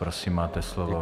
Prosím, máte slovo.